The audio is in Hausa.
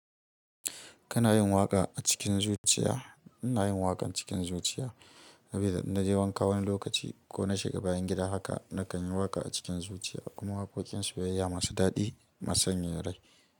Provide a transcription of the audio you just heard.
Kanayin waƙa a cikin zuciya? Ina yin waƙan cikin zuciya. Sabida innaje wanka wani lokaci ko na shiga bayan gida haka na kanyi waƙa a cikin zuciya. Kuma waƙoƙin soyayya masu daɗi, masu sanyaya rai.